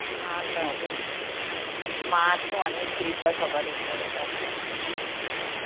হ্যাঁ কাকু, মা তো অনেক কৃপা সবার উপরে কাকু